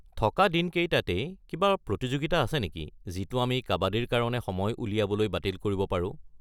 থকা দিনকেইটাতেই কিবা প্ৰতিযোগিতা আছে নেকি যিটো আমি কাবাদীৰ কাৰণে সময় উলিয়াবলৈ বাতিল কৰিব পাৰো।